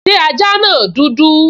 Ṣé ajá náà dúdú?